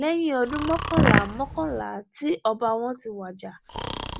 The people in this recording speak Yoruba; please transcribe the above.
lẹ́yìn ọdún mọ́kànlá mọ́kànlá tí ọba wọn ti wájà